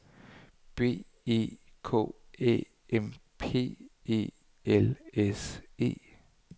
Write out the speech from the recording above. B E K Æ M P E L S E